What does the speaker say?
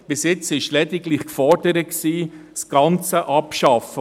Bisher wurde lediglich gefordert, die Kirchensteuer ganz abzuschaffen.